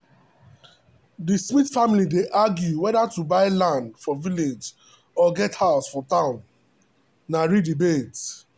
the smith family dey argue whether to buy land for village or get house for town na real debate.